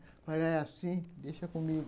Falaram assim, deixa comigo.